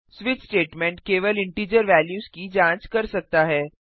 switch statement केवल integer values की जांच कर सकता है